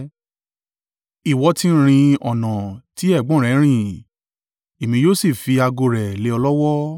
Ìwọ ti rin ọ̀nà ti ẹ̀gbọ́n rẹ rìn, Èmi yóò sì fi ago rẹ̀ lé ọ lọ́wọ́.